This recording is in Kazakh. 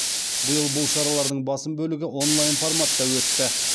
биыл бұл шаралардың басым бөлігі онлайн форматта өтті